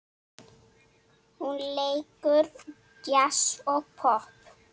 Hún leikur djass og popp.